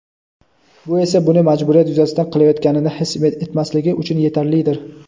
Bu esa u buni majburiyat yuzasidan qilayotganini his etmasligi uchun yetarlidir.